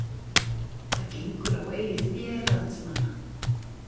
Það gengur á eigið fé landsmanna